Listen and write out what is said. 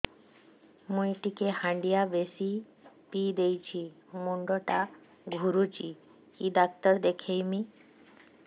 ମୁଇ ଟିକେ ହାଣ୍ଡିଆ ବେଶି ପିଇ ଦେଇଛି ମୁଣ୍ଡ ଟା ଘୁରୁଚି କି ଡାକ୍ତର ଦେଖେଇମି